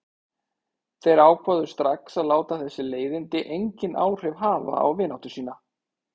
Þeir ákváðu strax að láta þessi leiðindi engin áhrif hafa á vináttu sína.